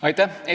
Aitäh!